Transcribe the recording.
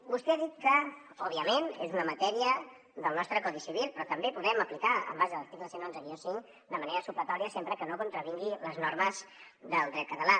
vostè ha dit que òbviament és una matèria del nostre codi civil però també la podem aplicar en base a l’article cent i onze cinc de manera supletòria sempre que no contravingui les normes del dret català